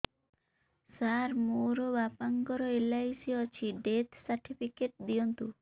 ସାର ମୋର ବାପା ଙ୍କର ଏଲ.ଆଇ.ସି ଅଛି ଡେଥ ସର୍ଟିଫିକେଟ ଦିଅନ୍ତୁ